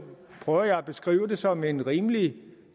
prøver jeg at beskrive det som en rimelig